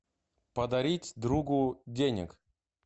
подарить другу денег